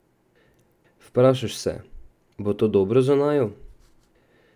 Vprašaš se, bo to dobro za naju?